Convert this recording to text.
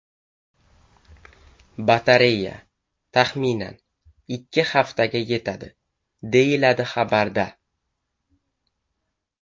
Batareya, taxminan, ikki haftaga yetadi, deyiladi xabarda.